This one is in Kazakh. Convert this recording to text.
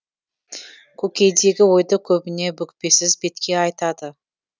көкейдегі ойды көбіне бүкпесіз бетке айтады